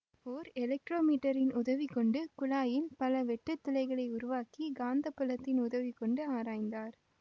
ஓர் எலக்ட்ரோ மீட்டரின் உதவி கொண்டு குழாயில் பல வெட்டுத்துளைகளை உருவாக்கி காந்த புலத்தின் உதவி கொண்டு ஆராய்ந்தார்